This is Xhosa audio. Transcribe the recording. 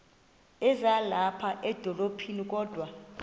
ezilapha edolophini kodwa